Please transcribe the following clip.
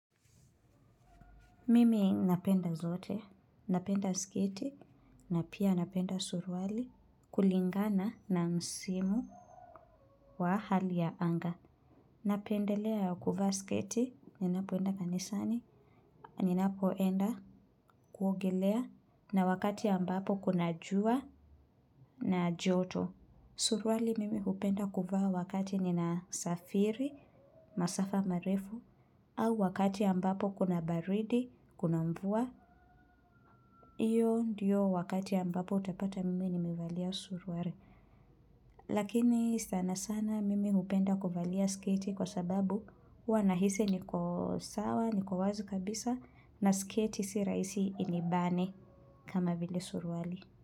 Mimi napenda zote, napenda sketi, na pia napenda suruali kulingana na msimu wa hali ya anga. Napendelea kuvaa sketi, ninapoenda kanisani, ninapoenda kuogelea, na wakati ambapo kuna jua na joto. Suruali mimi hupenda kuvaa wakati ninasafiri, masafa marefu, au wakati ambapo kuna baridi, kuna mvua. Hio ndio wakati ambapo utapata mimi nimevalia suruali. Lakini sana sana mimi hupenda kuvalia sketi kwa sababu huwa nahisi niko sawa, niko wazi kabisa na sketi si rahisi inibane kama vile suruali.